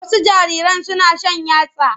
Wasu jariran suna shan yatsa.